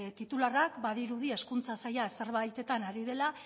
titularra badirudi hezkuntza saila zerbaitetan ari dela